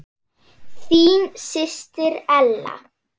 Þín systir Ella.